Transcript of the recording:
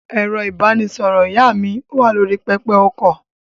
Ẹ̀rọ-ìbánisọ̀rọ̀ ìyá mi wà lórí pẹpẹ-okọ̀.